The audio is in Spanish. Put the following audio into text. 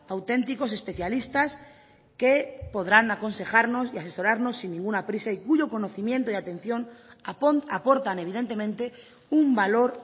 auténticos especialistas que podrán aconsejarnos y asesorarnos sin ninguna prisa y cuyo conocimiento y atención aportan evidentemente un valor